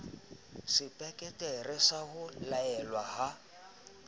sepeketere sa ho laelwa ha